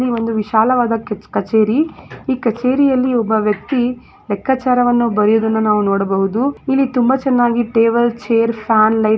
‌ ಇಲ್ಲಿ ಒಂದು ವಿಶಾಲವಾದ ಕಚ್ ಕಚೇರಿ ಈ ಕಚೇರಿಯಲ್ಲಿ ಒಬ್ಬ ವ್ಯಕ್ತಿ ಲೆಕ್ಕಾಚಾರವನ್ನು ಬರೆಯುವುದನ್ನು ನಾವು ನೋಡಬಹುದು ಇಲ್ಲಿ ತುಂಬಾ ಚೆನ್ನಾಗಿ ಟೇಬಲ್ ಚೈರ್ ಫ್ಯಾನ್ ಲೈಟ್ --